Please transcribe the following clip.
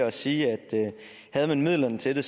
at sige at havde man midlerne til det